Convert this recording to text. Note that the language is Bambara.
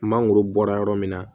Mangoro bɔra yɔrɔ min na